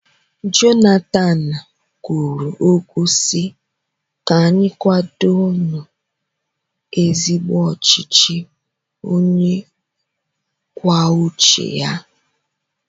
Jonathan kwuru okwu si, 'ka anyị kwado nu ezigbo ọchịchị onye kwuo uche ya'